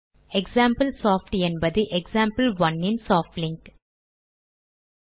example soft என்பது example one இன் soft link